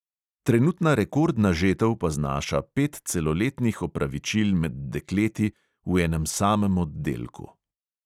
Trenutna rekordna žetev pa znaša pet celoletnih opravičil med dekleti v enem samem oddelku.